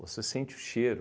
Você sente o cheiro.